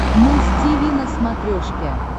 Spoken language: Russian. муз тиви на смотрешке